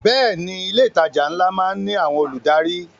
Bẹ́ẹ̀ ni, ilé ìtajà ńlá má ń ní àwọn olùdarí